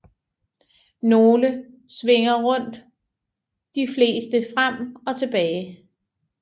Nogle svinger rundt de fleste frem og tilbage